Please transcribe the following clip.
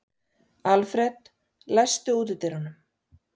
Alfred, læstu útidyrunum.